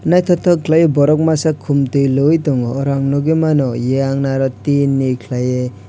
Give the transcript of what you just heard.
naitotok kelaioe borok masa kom tui loi tongo oro nogoi mano eyang naro tin ni kelai oe.